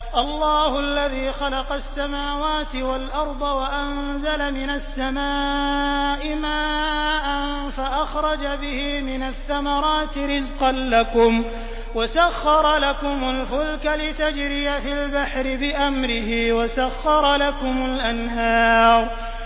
اللَّهُ الَّذِي خَلَقَ السَّمَاوَاتِ وَالْأَرْضَ وَأَنزَلَ مِنَ السَّمَاءِ مَاءً فَأَخْرَجَ بِهِ مِنَ الثَّمَرَاتِ رِزْقًا لَّكُمْ ۖ وَسَخَّرَ لَكُمُ الْفُلْكَ لِتَجْرِيَ فِي الْبَحْرِ بِأَمْرِهِ ۖ وَسَخَّرَ لَكُمُ الْأَنْهَارَ